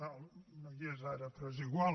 no hi és ara però és igual